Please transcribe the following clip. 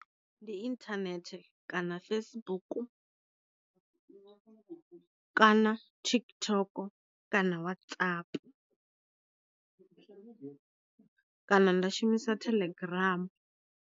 Ndi inthanethe kana Facebook, kana TikTok kana watsapu, kana nda shumisa thelegramu.